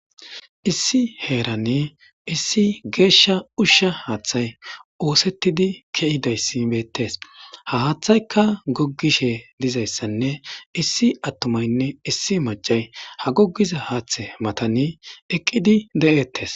Issi heeranne issi geeshsha ushsha haaththay oosettidi ke'idayssibettes ha haaththayka goggishe dizayssanne issi attumaynne issi macay ha goggiza haaththe matani eqqidi de'ettes.